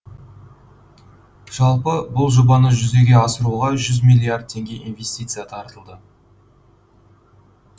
жалпы бұл жобаны жүзеге асыруға жүз милилард теңге инвестиция тартылды